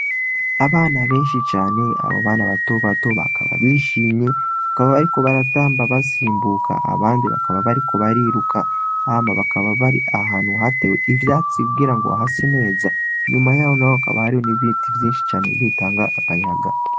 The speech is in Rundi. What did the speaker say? Abana benshi cane abo bana batobato bakaba bishimye bakaba bariko baratamba basimbuka abandi bakaba bariko bariruka hama bakaba bari ahantu hatewe ivyatsi kugira ngo hase neza, inyuma yabo naho hakaba hariho n'ibiti vyinshi cane bitanga akayaga.